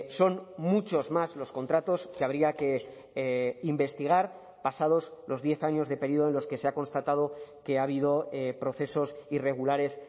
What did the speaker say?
son muchos más los contratos que habría que investigar pasados los diez años de periodo de los que se ha constatado que ha habido procesos irregulares